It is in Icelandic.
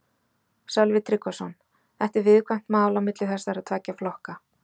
Sölvi Tryggvason: Þetta er viðkvæmt mál á milli þessara tveggja flokka?